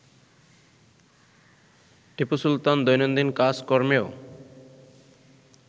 টিপু সুলতান দৈনন্দিন কাজকর্মেও